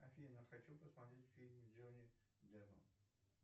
афина хочу посмотреть фильм с джонни деппом